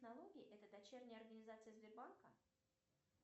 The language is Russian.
налоги это дочерняя организация сбербанка